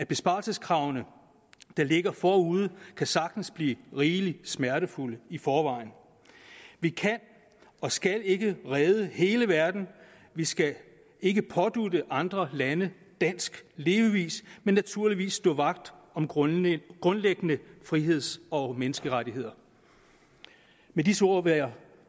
besparelseskrav der ligger forude sagtens kan blive rigelig smertefulde i forvejen vi kan og skal ikke redde hele verden vi skal ikke pådutte andre lande dansk levevis men naturligvis stå vagt om grundlæggende grundlæggende friheds og menneskerettigheder med disse ord vil jeg